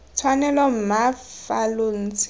tshwanelo mma fa lo ntse